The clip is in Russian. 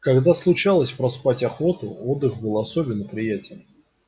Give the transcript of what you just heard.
когда случалось проспать охоту отдых был особенно приятен